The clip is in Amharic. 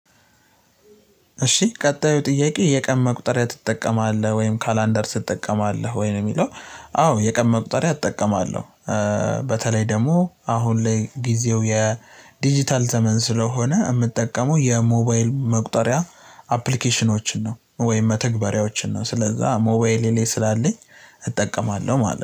እሺ ቀጣዩ ጥያቄ የቀን መቁጠሪያ ትጠቀማለህ ወይም ካላንደር ትጠቀማለህ ወይ ነው የሚለው? አዎ የቀን መቁጠሪያ እጠቀማለሁ። በተለይ ደግሞ አሁን ላይ ጊዜው የዲጂታል ዘመን ስለሆነ የምጠቀመው የሞባይል መቁጠሪያ አፕሊኬሽኖችን ነው። ወይም መተግበሪያዎችን ነው ስለዛ ሞባይሌ ላይ ስላለኝ እጠቀማለሁ ማለት ነው